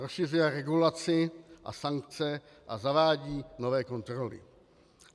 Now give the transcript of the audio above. Rozšiřuje regulaci a sankce a zavádí nové kontroly.